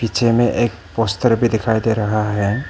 पीछे में एक पोस्टर भी दिखाई दे रहा है।